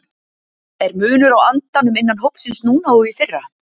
Er munur á andanum innan hópsins núna og í fyrra?